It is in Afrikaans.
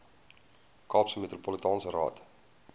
kaapse metropolitaanse raad